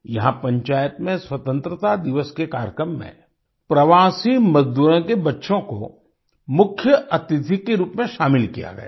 यहाँ पंचायत में स्वतंत्रता दिवस के कार्यक्रम में प्रवासी मजदूरों के बच्चों को मुख्य अतिथि के रूप में शामिल किया गया